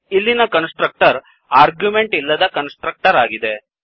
ಇಲ್ಲಿನ constructor argument ಇಲ್ಲದ constructor ಆಗಿದೆ